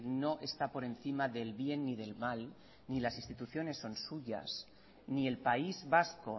no está por encima del bien ni del mal ni las instituciones son suyas ni el país vasco